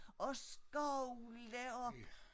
Og skovle op